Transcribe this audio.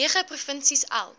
nege provinsies elk